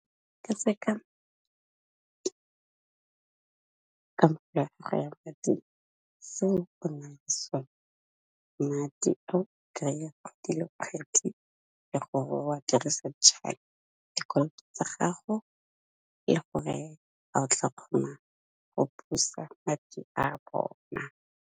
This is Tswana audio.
Ka tse kamoka go ya mading seo go nang sone, madi a o kry-a kgwedi le kgwedi le gore wa dirise dikoloto tsa gago le gore go busa madi a bona.